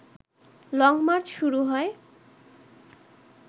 long march শুরু হয়